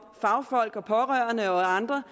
fagfolk og pårørende og andre